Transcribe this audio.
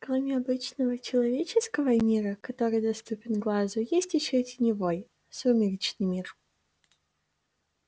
кроме обычного человеческого мира который доступен глазу есть ещё теневой сумеречный мир